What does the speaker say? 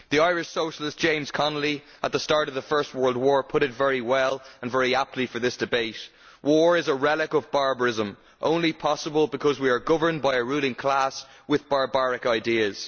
The Irish socialist, James Connolly, at the start of the First World War, put it very well, and very aptly for this debate War is a relic of barbarism only possible because we are governed by a ruling class with barbaric ideas.'